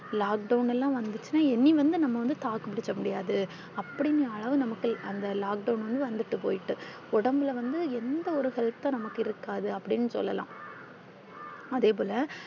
lockdown லாம் வந்திருச்சுனா இனி வந்து நாம வந்து தாக்கு பிடிக்க முடியாது அப்பிடிங்கிற அளவு அந்த lockdown ல வந்து வந்திட்டு போயிட்டு. உடம்புல வந்து எந்த ஒரு Health ம் நமக்கு இருக்காது அப்பிடினு சொல்லலாம் அதேபோல